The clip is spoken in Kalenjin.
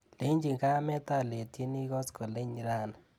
Lechii kamet aletyini koskoliny rani.